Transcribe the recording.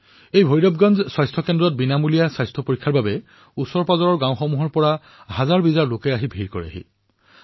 এই ভৈৰৱগঞ্জ স্বাস্থ্যকেন্দ্ৰত বিনামূলীয়াকৈ স্বাস্থ্য পৰীক্ষণৰ বাবে নিকটৱৰ্তী গাঁৱৰ লোকসকলে ভিৰ কৰিলেহি